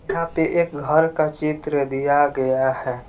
यहां पे एक घर का चित्र दिया गया है।